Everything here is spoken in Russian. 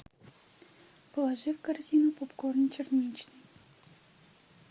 положи в корзину попкорн черничный